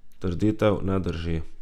Trditev ne drži.